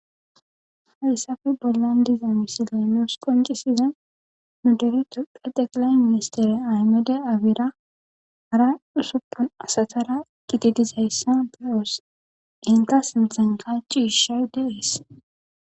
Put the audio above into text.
Haysape bollan diza xelo qoncissiza xeqilay miniistiry aymede abira hara ussufun asatara Gido dizaysa beyos iza sinthanka cishay dees